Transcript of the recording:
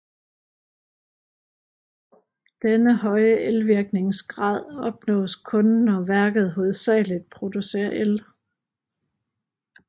Denne høje elvirkningsgrad opnås kun når værket hovedsagligt producerer el